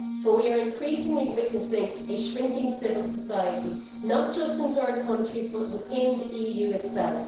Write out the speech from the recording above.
But we are increasingly witnessing a shrinking civil society not just in third countries, but within the EU itself.